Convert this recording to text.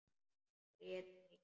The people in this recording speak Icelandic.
Grét mikið.